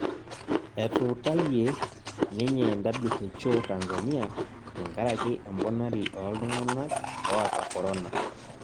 Etuutaie ninye WHO Tanzania tenkaraki emponari olntung'ana oota korona